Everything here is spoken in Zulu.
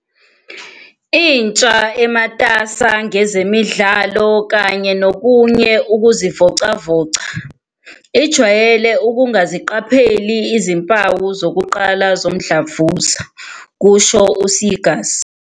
"Intsha, ematasa ngezemidlalo kanye nokunye ukuzivocavoca, ijwayele ukungaziqapheli izimpawu zokuqala zomdlavuza," kusho u-Seegers.